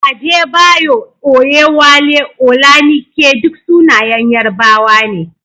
Adebayo, Oyewale, Olanike duk sunayen Yarbawa ne.